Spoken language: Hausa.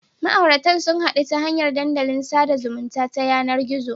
Ma'auratan sun hadu ta hanyar dandalin sada zumunta ta yanar gizo.